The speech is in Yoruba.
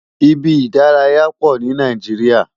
Ibi idàráyá pó ni Nàijiriá